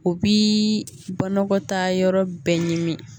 O bi banakɔta yɔrɔ bɛɛ ɲimi